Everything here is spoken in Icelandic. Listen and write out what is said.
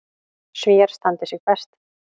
Svíar standi sig best.